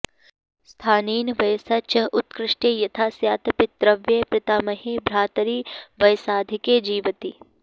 स्थानेन वयसा च उत्कृष्टे यथा स्यात् पितृव्ये पितामहे भ्रातरि वयसाधिके जिवति